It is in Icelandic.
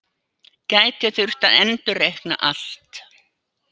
Gæti þurft að endurreikna allt